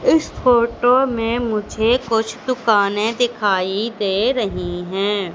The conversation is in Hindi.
इस फोटो में मुझे कुछ दुकाने दिखाई दे रहीं हैं।